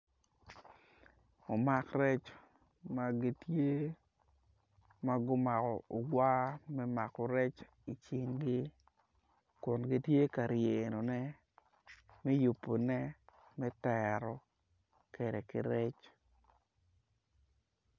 Umak rec ma gitye ma gumako ogwar me mako rec icingi kun gitye ka ryenone me yupune me tero kede ki rec